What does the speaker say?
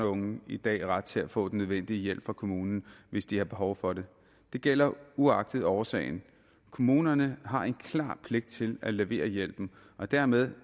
og unge i dag ret til at få den nødvendige hjælp fra kommunen hvis de har behov for det det gælder uagtet årsagen kommunerne har en klar pligt til at levere hjælpen og dermed